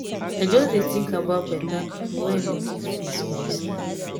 i just dey tink about beta pipo wey i no give face for dis life.